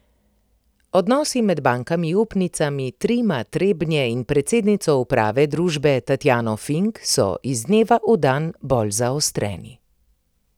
Odnosi med bankami upnicami Trima Trebnje in predsednico uprave družbe Tatjano Fink so iz dneva v dan bolj zaostreni.